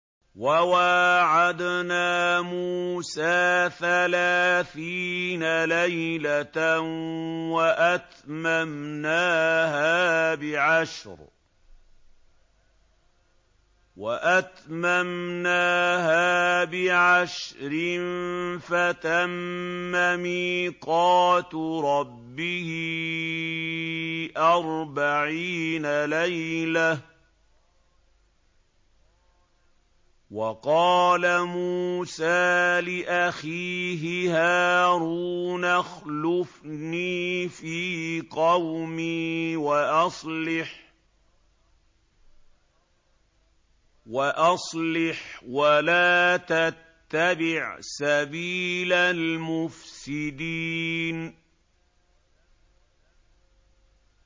۞ وَوَاعَدْنَا مُوسَىٰ ثَلَاثِينَ لَيْلَةً وَأَتْمَمْنَاهَا بِعَشْرٍ فَتَمَّ مِيقَاتُ رَبِّهِ أَرْبَعِينَ لَيْلَةً ۚ وَقَالَ مُوسَىٰ لِأَخِيهِ هَارُونَ اخْلُفْنِي فِي قَوْمِي وَأَصْلِحْ وَلَا تَتَّبِعْ سَبِيلَ الْمُفْسِدِينَ